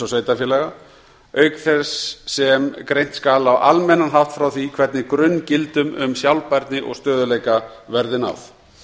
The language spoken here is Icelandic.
sveitarfélaga auk þess sem greint skal á almennan hátt frá því hvernig grunngildum um sjálfbærni og stöðugleika verði náð